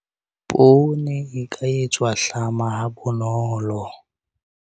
Poone e ka etswa hlama ha bonolo.